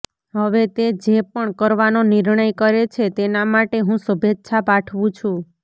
હવે તે જે પણ કરવાનો નિર્ણય કરે છે તેના માટે હું શુભેચ્છા પાઠવું છું